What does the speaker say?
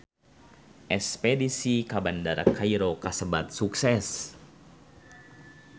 Espedisi ka Bandara Kairo kasebat sukses